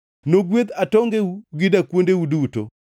Nogwedh atongeu gi dakuondeu duto.